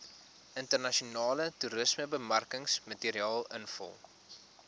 internasionale toerismebemarkingsmateriaal invul